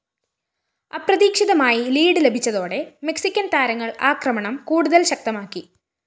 അപ്രതീക്ഷിതമായി ലീഡ്‌ ലഭിച്ചതോടെ മെക്‌സിക്കന്‍ താരങ്ങള്‍ ആക്രമണം കൂടുതല്‍ ശക്തമാക്കി